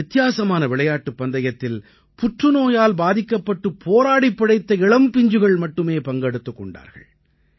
இந்த வித்தியாசமான விளையாட்டுப் பந்தயத்தில் புற்றுநோயால் பாதிக்கப்பட்டுப் போராடிப் பிழைத்த இளம் பிஞ்சுகள் மட்டுமே பங்கெடுத்துக் கொண்டார்கள்